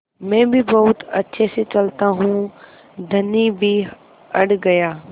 मैं भी बहुत अच्छे से चलता हूँ धनी भी अड़ गया